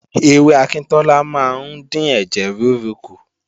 Ewé akíntọ́lá máa ń dín ẹ̀jẹ̀ rúru kù